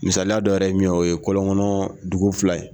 Misaliya dɔ yɛrɛ ye min o ye kɔlɔnkɔnɔ dugu fila ye